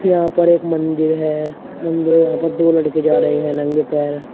यहां पर एक मंदिर है मंदिर में यहां पर दो लड़के जा रहे है नंगे पैर।